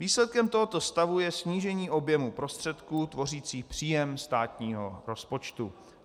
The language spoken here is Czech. Výsledkem tohoto stavu je snížení objemu prostředků tvořících příjem státního rozpočtu.